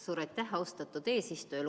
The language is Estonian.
Suur aitäh, austatud eesistuja!